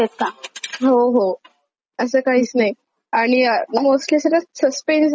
असं काहीच नाही आणि मोस्टली सस्पेन्स असणाऱ्या जास्त छान वाटतात कधी कधी.